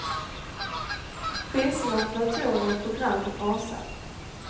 Priserna på datorer och program rasar.